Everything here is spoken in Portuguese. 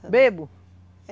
Bêbado.